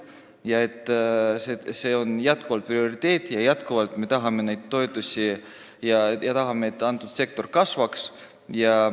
Me peame ütlema, et see on jätkuvalt prioriteet, me tahame neid toetada ja seda, et sektor kasvaks.